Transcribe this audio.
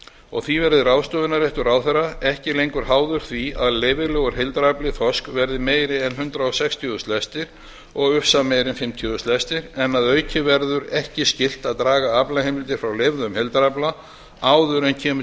og því verði ráðstöfunarréttur ráðherra ekki lengur háður því að leyfilegur heildarafli þorsks verði meiri en hundrað sextíu þúsund lestir og ufsa meiri en fimmtíu þúsund lestir en að auki verður ekki skylt að draga aflaheimildir frá leyfðum heildarafla áður en kemur